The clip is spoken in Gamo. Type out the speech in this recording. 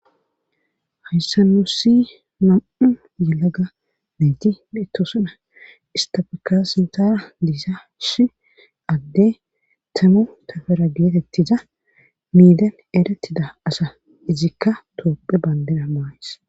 hayssa nussi nam7u yelaga mejji mitosana istafeka sintana diisa shi adde tanu tafera geetettiza miidan eratida asa izikka toophe bandena maays